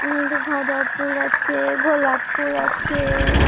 ওখানে একটা গাঁধা ফুল আছে গোলাপ ফুল আছে ।